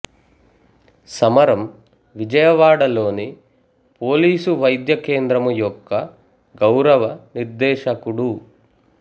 సమరం విజయవాడలోని పోలీసు వైద్య కేంద్రము యొక్క గౌరవ నిర్దేశకుడు